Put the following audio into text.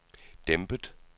dæmpet